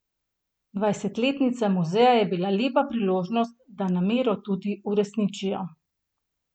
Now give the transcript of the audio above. Dvajsetletnica muzeja je bila lepa priložnost, da namero tudi uresničijo.